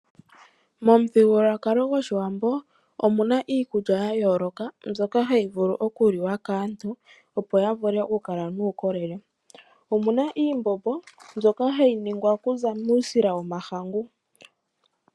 Momuthigululwakalo gOshiwambo omuna iikulya ya yooloka mbyoka hayi vulu oku liwa kaantu, opo ya vule oku kala nuukolele. Omuna iimbombo mbyoka hayi ningwa okuza muusila wo mahangu.